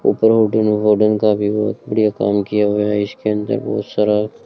ऊपर होर्डिंग है होर्डिंग का भी बहोत बढ़िया काम किया हुआ है इसके अंदर बहुत सारा--